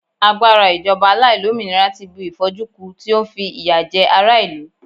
agbara ijoba aláìlómìnira ti bu if'oju ku, ti o fi n fi iya je ara ilu